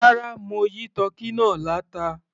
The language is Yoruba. Rárá, mo yí tọ́kì náà láta.